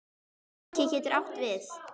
Haki getur átt við